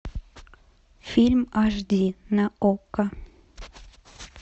фильм аш ди на окко